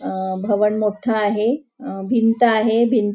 अ भवन मोठ आहे अ भिंत आहे भिं--